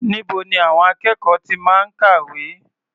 Níbo ni àwọn akẹ́kọ̀ọ́ ti máa ń kàwé?